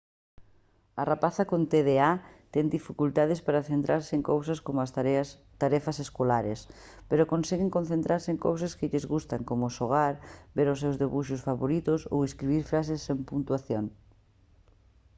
a rapazada con tda ten dificultades para centrarse en cousas como as tarefas escolares pero conseguen concentrarse en cousas que lles gustan como xogar ver os seus debuxos favoritos ou escribir frases sen puntuación